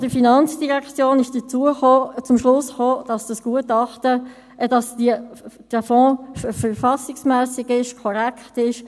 Der Jurist der FIN ist zum Schluss gekommen, dass dieser Fonds verfassungsmässig ist, korrekt ist.